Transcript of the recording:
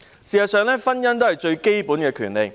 事實上，婚姻是最基本的權利。